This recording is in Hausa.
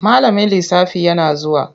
Malamin lisafi yana zuwa.